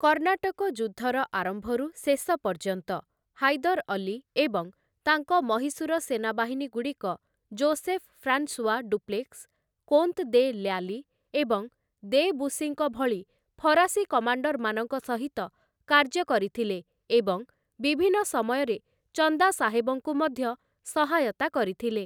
କର୍ଣ୍ଣାଟକ ଯୁଦ୍ଧର ଆରମ୍ଭରୁ ଶେଷ ପର୍ଯ୍ୟନ୍ତ, ହାଇଦର୍ ଅଲ୍ଲୀ ଏବଂ ତାଙ୍କ ମହୀଶୂର ସେନାବାହିନୀଗୁଡ଼ିକ Joseph François Dupleix, Comte de Lally ଏବଂ ଦେ ବୁସିଙ୍କ ଭଳି ଫରାସୀ କମାଣ୍ଡରମାନଙ୍କ ସହିତ କାର୍ଯ୍ୟ କରିଥିଲେ ଏବଂ ବିଭିନ୍ନ ସମୟରେ ଚନ୍ଦା ସାହେବଙ୍କୁ ମଧ୍ୟ ସହାୟତା କରିଥିଲେ ।